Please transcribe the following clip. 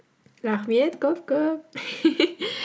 рахмет көп көп